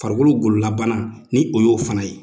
Farikolo gololabana ni o y'o fana ye.